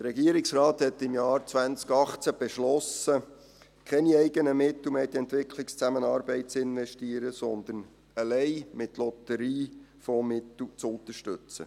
Der Regierungsrat hat im Jahr 2018 beschlossen, keine eigenen Mittel mehr in die Entwicklungszusammenarbeit zu investieren, sondern allein mit Lotteriefondsmitteln zu unterstützen.